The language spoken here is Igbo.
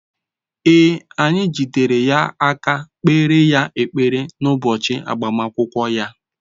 Ee, anyị jidere ya aka kpeere ya ekpere n’ụbọchị agbamakwụkwọ ya.